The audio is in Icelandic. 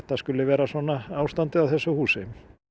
skuli vera svona ástandið á þessu húsi